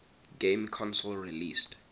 game console released